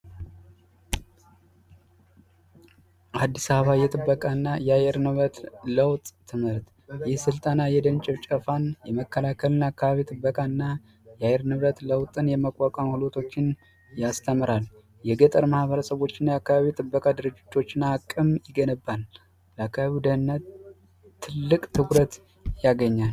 አዲስ አበባ የጥበቃና የአየር ንብረት ለውጥ ትምህርት የስልጠና የደን ጭፍጨፋን የመከላከልና አካባቢ ጥበቃና የንብረት ለውጥን የመቋቋምቶችን ያስተምራል የገጠር ማህበረሰቦችን አካባቢ ጥበቃ ድርጅቶችና አቅም ይገነባል ትልቅ ትኩረት ያገኛል